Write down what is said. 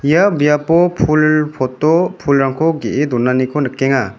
ia biapo pul pot-o pulrangko ge·e donaniko nikenga.